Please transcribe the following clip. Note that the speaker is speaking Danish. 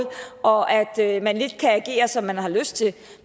og at at man lidt kan agere som man har lyst til